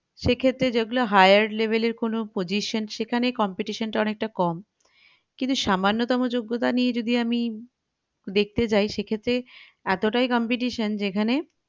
সেক্ষেত্রে যেগুলো higher level এর কোনো position সেখানে competition টা অনেকটা কম কিন্তু সামান্য তম যোগ্যতা নিয়ে যদি আমী যায় সেক্ষেত্রে এতটাই competition যেখানে